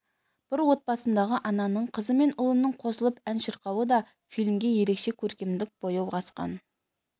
бір отбасындағы ананың қызы мен ұлының қосылып ән шырқауы да фильмге ерекше көркемдік бояу қосқан